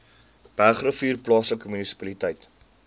bergrivier plaaslike munisipaliteit